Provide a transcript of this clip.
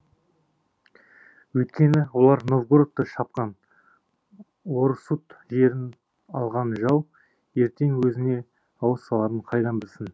өйткені олар новгородты шапқан орұсут жерін алған жау ертең өзіне ауыз саларын қайдан білсін